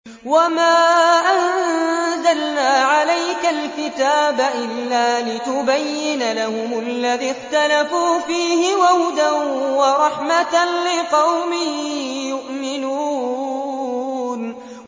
وَمَا أَنزَلْنَا عَلَيْكَ الْكِتَابَ إِلَّا لِتُبَيِّنَ لَهُمُ الَّذِي اخْتَلَفُوا فِيهِ ۙ وَهُدًى وَرَحْمَةً لِّقَوْمٍ يُؤْمِنُونَ